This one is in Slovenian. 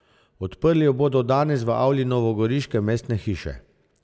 Odprli jo bodo danes v avli novogoriške Mestne hiše.